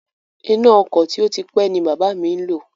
Iná ọkọ̀ tí ó ti pé ni bàbá mi ń lò